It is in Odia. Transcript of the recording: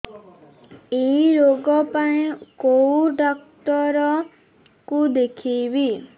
ଏଇ ରୋଗ ପାଇଁ କଉ ଡ଼ାକ୍ତର ଙ୍କୁ ଦେଖେଇବି